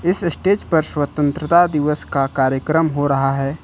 इस स्टेज पर स्वतंत्रता दिवस का कार्यक्रम हो रहा है।